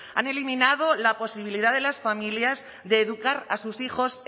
han eliminado la posibilidad de las familias de educar a sus hijos